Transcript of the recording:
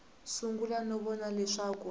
sungula no vona leswaku a